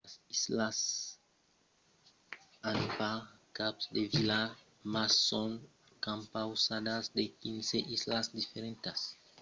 las islas cook an pas cap de vila mas son compausadas de 15 islas diferentas. las principalas son rarotonga e aitutaki